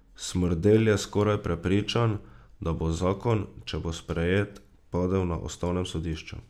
Smrdelj je skoraj prepričan, da bo zakon, če bo sprejet, padel na ustavnem sodišču.